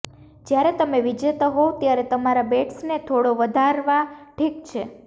જ્યારે તમે વિજેતા હોવ ત્યારે તમારા બેટ્સને થોડો વધારવા ઠીક છે